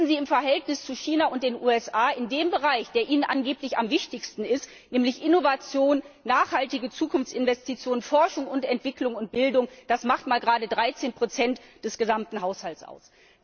Wissen Sie, im Verhältnis zu China und den USA macht der Bereich, der Ihnen angeblich am wichtigsten ist, nämlich Innovation, nachhaltige Zukunftsinvestitionen, Forschung und Entwicklung und Bildung, gerade mal 13 des gesamten Haushalts aus.